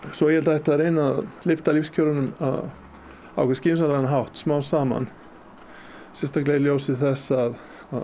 svo ég held að ætti að reyna að lyfta lífskjörunum á einhvern skynsamlegan hátt smám saman sérstaklega í ljósi þess að